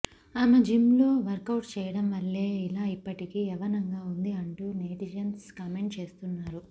ఆమె జిమ్లో వర్కౌట్స్ చేయడం వల్లే ఇలా ఇప్పటికి యవ్వనంగా ఉంది అంటూ నెటిజన్స్ కామెంట్స్ చేస్తున్నారు